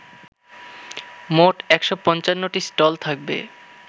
মোট ১৫৫টি স্টল থাকবে